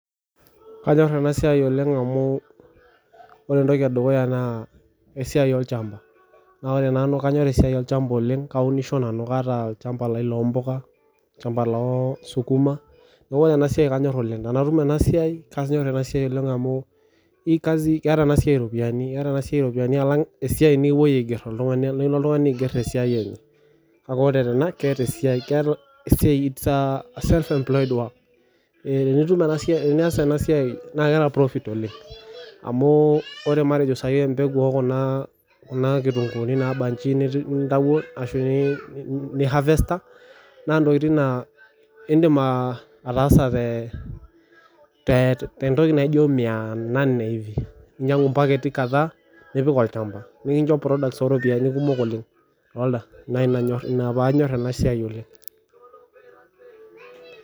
Kanyor ena siai oleng amu ore ena naa esiai olchamba naa ore nanu kanyor esiai olchamba oleng kaunisho kataa olchamba lai loo mbuka olchamba losukuma neeku ore enasiai kanyor oleng tenatum enasiai keeta enasiai eropiani alangu esiai nikilo oltung'ani aiger tesiai neeku ore ena it is a self employ work tenias ena siai naa keeta profit oleng amu ore matejo sahi embeguu ekuna kitunguuni naabaji nintawuo ashu nihavesta naa ntokitin naa edim ataasa tee ntoki naijio mia name hivi ninyiangu mpaketi kadhaa nipik olchamba nikinjo products oo ntokitin kumok oleng naa enaa pee anymore ena siai oleng